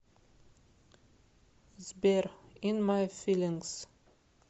сбер ин май филингс